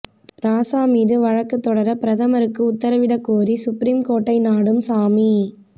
ராசா மீது வழக்கு தொடர பிரதமருக்கு உத்தரவிடக் கோரி சுப்ரீம் கோர்ட்டை நாடும் சாமி